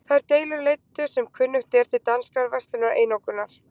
Þær deilur leiddu sem kunnugt er til danskrar verslunareinokunar.